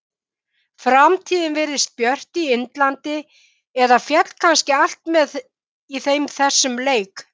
Framtíðin virðist björt í Indlandi eða féll kannski allt með þeim í þessum leik?